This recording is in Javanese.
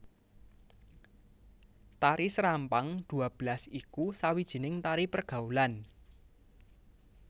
Tari serampang dua belas iku sawijining tari pergaulan